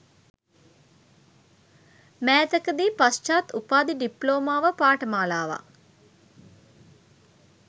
මෑතකදී පශ්චාත් උපාධි ඩිප්ලෝමා පාඨමාලාවක්